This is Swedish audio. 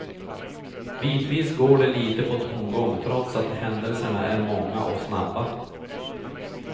Bitvis går det lite på tomgång trots att händelserna är många och snabba.